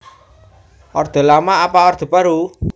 Orde Lama apa Orde Baru